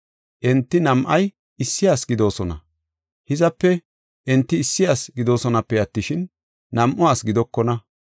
Enti nam7ay issi ase gidoosona; hizape, enti issi ase gidoosonape attishin, nam7u asi gidokona.